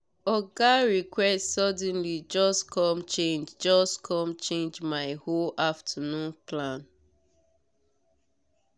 oga request suddenly just com change just com change my whole afternoon plan.